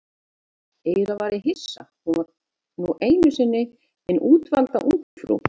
Eiginlega var ég hissa, hún var nú einu sinni hin útvalda ungfrú